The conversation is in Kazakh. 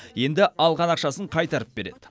енді алған ақшасын қайтарып береді